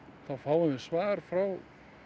þá fáum við svar frá